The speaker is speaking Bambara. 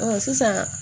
sisan